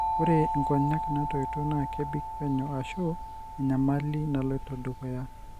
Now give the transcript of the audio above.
Ore nkonyek natoito na kebik penyo ashu a enyamali naloito dukuya.